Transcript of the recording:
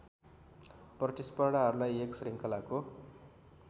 प्रतिस्पर्धाहरूलाई एक श्रृङ्खलाको